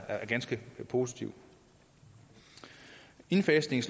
ganske positivt indfasningen